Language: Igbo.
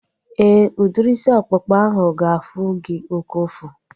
Éè, udiri isi ọkpụkpa ahu ga-afụ gị oké ụfụ